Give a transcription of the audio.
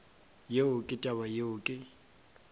yeo ke taba yeo ke